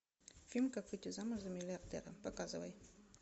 фильм как выйти замуж за миллиардера показывай